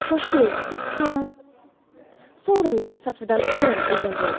Shoshiling va siz ham sovrindorlar safidan o‘rin egallang!